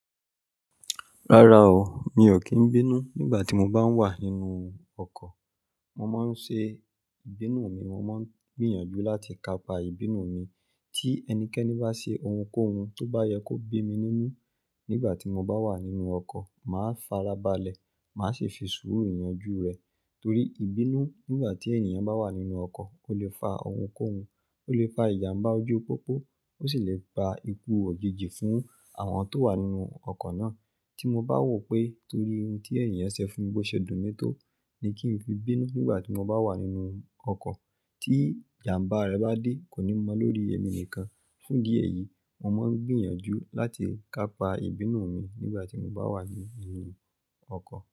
Rárá o, mi ò kí ń bínú nígbà tí mo bá wà nínú ọkọ̀. Mo máa ń ṣe ìbínú mi, mo máa ń gbìyànjú láti kapa ìbínú mi. Tí ẹnikẹ́ni bá ṣe ohunkóhun tó bá yẹ kó bí mi nínú nígbà tí mo bá wà nínú ọkọ̀, màá farabalẹ̀, màá sì fi sùúrù yanjú rẹ̀. Torí ìbínú nígbà tí ènìyàn bá wà nínú ọkọ̀ ó lè fa ohunkóhun, ó lè fa ìjàmbá ojú pópó, ó sì lè gba ikú òjijì fún àwọn tó wà nínú ọkọ̀ náà. Tí mo bá wò pé torí ohun tí ènìyàn ṣe fún mi bó ṣe dún mi tó ni kí n fi bínú nígbà tí mo bá wà nínú ọkọ̀, tí ìjàmbá rẹ̀ bá dé kò ní mọ lórí èmi nìkan. Fún idi éyìí, mo máa ń gbìyànjú láti kapa ìbínú mi nígbà tí mo bá wà nínú ọkọ̀